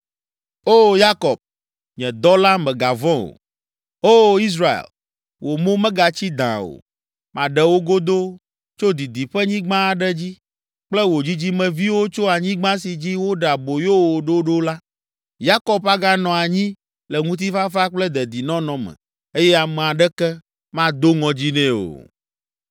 “O Yakob, nye dɔla, mègavɔ̃ o; O Israel, wò mo megatsi dãa o. Maɖe wò godoo tso didiƒenyigba aɖe dzi kple wò dzidzimeviwo tso anyigba si dzi woɖe aboyo wo ɖo ɖo la. Yakob aganɔ anyi le ŋutifafa kple dedinɔnɔ me eye ame aɖeke mado ŋɔdzi nɛ o.